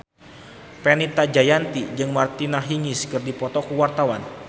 Fenita Jayanti jeung Martina Hingis keur dipoto ku wartawan